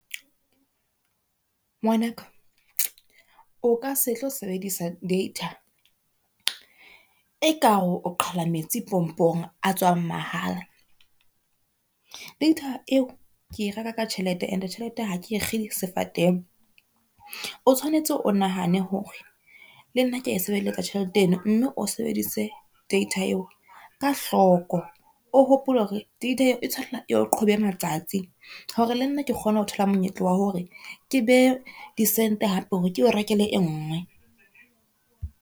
Ngwanaka o ka se tlo sebedisa data e kare o qhala metsi pompong a tswang mahala. Data eo ke reka ka tjhelete and tjhelete ha ke e kge sefateng, o tshwanetse o nahane hore le nna ke a e sebeletsa tjhelete ena, mme o sebedise data eo ka hloko. O hopole hore data eo e tshwanela e re qhobe matsatsi hore le nna ke kgone ho thola monyetla wa hore ke behe di sente hape hore ke o rekele e ngwe.